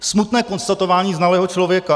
Smutné konstatování znalého člověka.